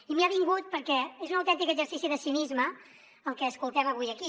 i m’hi ha vingut perquè és un autèntic exercici de cinisme el que escoltem avui aquí